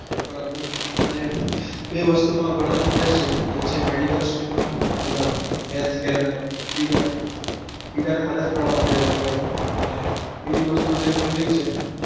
બરાબર મને બે વસ્તુ માં ઘણો interest છે એક છે medical stream માં મતલબ health care માં બીજા અને બીજા ને મદદ કરવા માટે health care મા અને બીજી વસ્તુ છે છે